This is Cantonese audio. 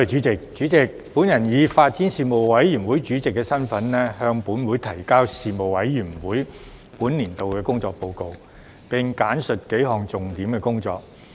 主席，我以發展事務委員會主席的身份，向本會提交事務委員會本年度的工作報告，並簡述數項重點工作。